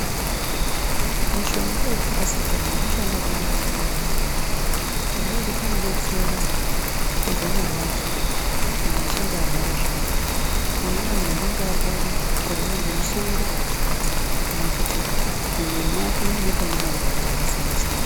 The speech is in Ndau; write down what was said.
Mishonga weparasetamo wakabanaka maningi ngendaa yekuti unodetsera kupodza marwadzo munhu achinge apora zviyani kunyanyanya munhu anenge arwara arwara ngemusoro kana kuti mumwiri make muine marwadzo akasiyana -siyana .